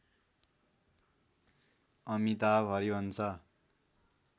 Amitabh Harivansh